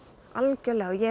algjörlega ég